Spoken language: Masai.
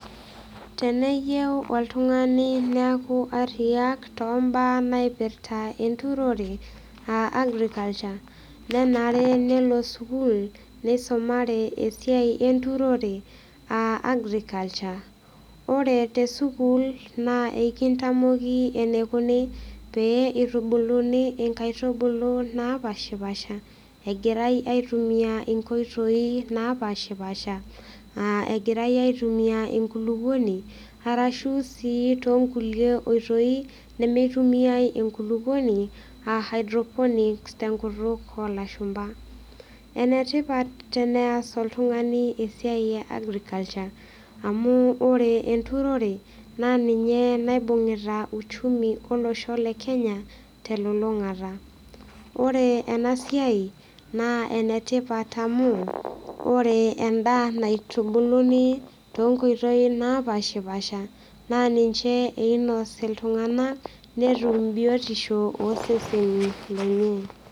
Teneyeu oltung'ani neeku ariyiak too mbaa naipirta enturore aa agriculture nenare nelo sukuul nisumare esiai enturore aa agriculture. Ore te sukuul naa ekintamoki enikuni pee itubuluni nkaitubulu napaashipaasha egirai aitumia inkoitoi napaashipaasha aa egirai aitumia enkulukoni arashu sii too nkulie oitoi nemitumiai enkulukoni aa hydroponics te nkutuk oo lashumba. Ene tipat teneas oltung'ani esiai e agriculture amu ore enturore naa ninye naibung'ita uchumi olosho le Kenya te lulung'ata. Ore ena siai naa ene tipat amu ore endaa anitubuluni too nkoitoi napaashipaasha naa ninche einos iltung'anak netum biotisho oo seseni lenye.